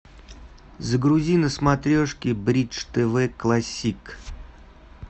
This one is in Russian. загрузи на смотрешке бридж тв классик